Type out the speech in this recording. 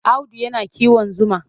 Audu yana kiwon zuma.